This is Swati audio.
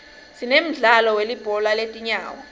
sinemdlalo welibhola letinyawo